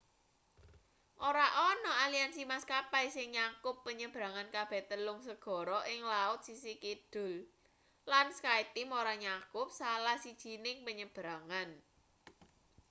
ora ana aliansi maskapai sing nyakup penyebrangan kabeh telung segara ing laut sisih kidul lan skyteam ora nyakup salah sijining penyebrangan